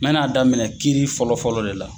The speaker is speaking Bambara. N bɛna daminɛ kiiri fɔlɔ fɔlɔ de la.